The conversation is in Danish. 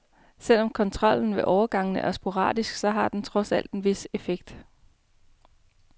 Selv om kontrollen ved overgangene er sporadisk, så har den trods alt en vis effekt.